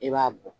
I b'a bɔ